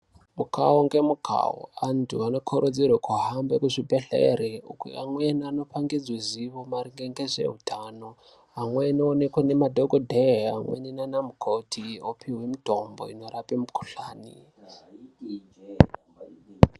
Mukhau ngemukhau antu anokurudzirwa kuhamba muzvibhedhleri, amweni anopangidzwa zivo maringe ngezveutano. Amweni oonekwa ndiana dhokodheya amweni nana namukoti opihwa mitombo inorapa mukhuhlani